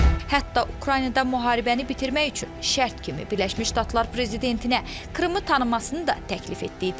Hətta Ukraynada müharibəni bitirmək üçün şərt kimi Birləşmiş Ştatlar prezidentinə Krımı tanımasını da təklif etdiyi deyilir.